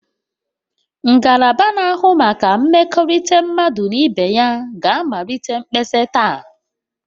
Ngalaba na-ahụ maka mmekọrịta mmadụ na ibe ya ga-amalite mkpesa taa